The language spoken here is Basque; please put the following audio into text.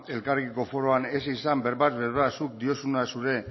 elkarrekiko foruan ez izan berbaz berba zuk diozuna zure